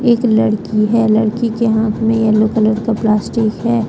एक लड़की है लड़की के हाथ में येलो कलर का प्लास्टिक है।